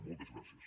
moltes gràcies